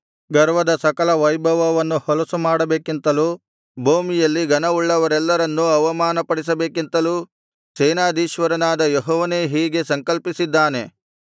ಗರ್ವದ ಸಕಲ ವೈಭವವನ್ನು ಹೊಲಸು ಮಾಡಬೇಕೆಂತಲೂ ಭೂಮಿಯಲ್ಲಿ ಘನವುಳ್ಳವರೆಲ್ಲರನ್ನು ಅವಮಾನಪಡಿಸಬೇಕೆಂತಲೂ ಸೇನಾಧೀಶ್ವರನಾದ ಯೆಹೋವನೇ ಹೀಗೆ ಸಂಕಲ್ಪಿಸಿದ್ದಾನೆ